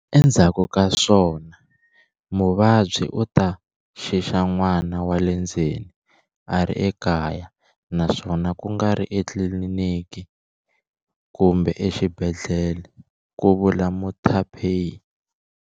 Endzhaku ka swona muvabyi u ta xixa n'wana wa le ndzeni a ri ekaya naswona ku nga ri etlilini ki kumbe exibedhlele, ku vula Muthuphei.